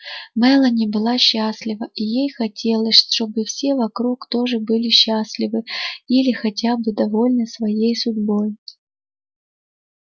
мелани была счастлива и ей хотелось чтобы все вокруг тоже были счастливы или хотя бы довольны своей судьбой